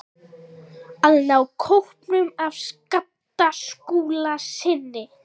AÐ NÁ KÓPNUM AF SKAPTA SKÚLASYNI.